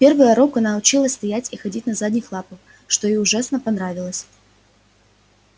в первый урок она училась стоять и ходить на задних лапах что ей ужасно понравилось